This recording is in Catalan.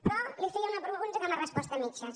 però li feia una pregunta que m’ha respost a mitges